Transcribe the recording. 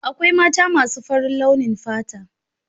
Akwai mata masu faran launin fata.